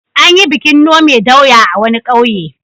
An yi bikin nome doya a wani ƙauye.